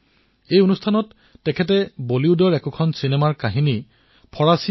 তেওঁ পিতৃয়ে চিনেমা থিয়েটাৰত কাম কৰিছিল আৰু তাত ভাৰতীয় চিনেমাও প্ৰদৰ্শন কৰা হৈছিল